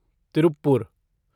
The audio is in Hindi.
तिरुप्पुर